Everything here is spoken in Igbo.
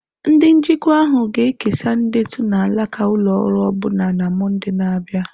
Ndị njikwa ahụ ga-ekesa ndetu na alaka ụlọ ọrụ ọbụna na Mọnde na-abịa.